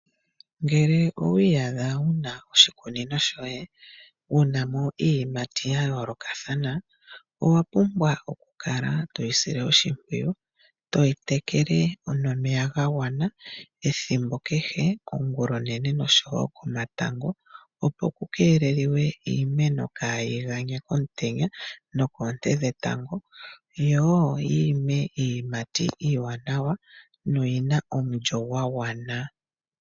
Ngele owiiyadha wuna oshikunino shoye wunamo iiyimati yayoolokathana owapumbwa okukala toyi sile oshimpwiyu, toyi tekele nomeya gagwana ethimbo kehe ongulonene nosho wo komatango opo kukeelelwe iimeno kaayiganye komutenya nokoonte dhetango yo wo yiime iiyimati iiwanawa noyina omulyo gwa gwana.